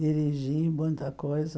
Dirigi muita coisa.